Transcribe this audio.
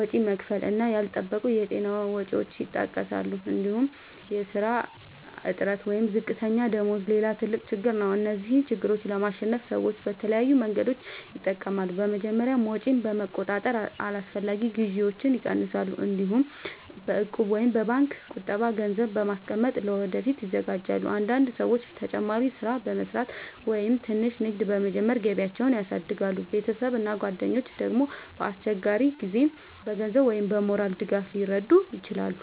ወጪ መክፈል እና ያልተጠበቁ የጤና ወጪዎች ይጠቀሳሉ። እንዲሁም የሥራ እጥረት ወይም ዝቅተኛ ደመወዝ ሌላ ትልቅ ችግር ነው። እነዚህን ችግሮች ለማሸነፍ ሰዎች የተለያዩ መንገዶችን ይጠቀማሉ። በመጀመሪያ ወጪን በመቆጣጠር አላስፈላጊ ግዢዎችን ይቀንሳሉ። እንዲሁም በእቁብ ወይም በባንክ ቁጠባ ገንዘብ በማስቀመጥ ለወደፊት ይዘጋጃሉ። አንዳንድ ሰዎች ተጨማሪ ሥራ በመስራት ወይም ትንሽ ንግድ በመጀመር ገቢያቸውን ያሳድጋሉ። ቤተሰብ እና ጓደኞች ደግሞ በአስቸጋሪ ጊዜ በገንዘብ ወይም በሞራል ድጋፍ ሊረዱ ይችላሉ።